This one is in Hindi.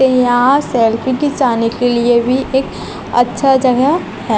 यहां सेल्फी खिंचाने के लिए भी एक अच्छा जगह है।